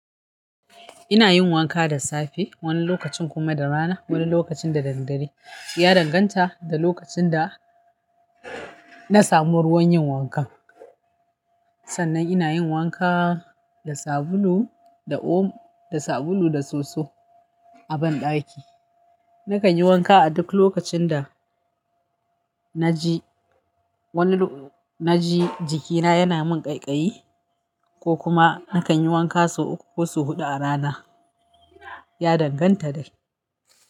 Ina yin wanka da safe, wani lokacin kuma da rana, wani lokacin da daddare. Ya danganta da lokacin da na samu ruwan yin wanka. Sannan ina yin wanka da sabulu da o- da sabulu da soso a banɗaki. Nakan yi wanka a duk lokacin da na ji wani, na ji jikina yana min ƙaiƙayi, ko kuma nakan yi wanka sau uku ko sau huɗu a rana. Ya danganta dai.